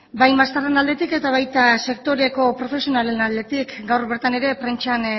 bai maizterren aldetik eta baita sektoreko profesionalen aldetik gaur bertan ere prentsan